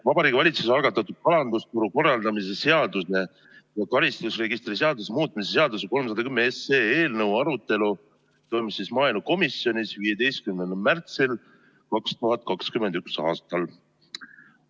Vabariigi Valitsuse algatatud kalandusturu korraldamise seaduse ja karistusregistri seaduse muutmise seaduse eelnõu 310 arutelu toimus maaelukomisjonis 15. märtsil 2021. aastal.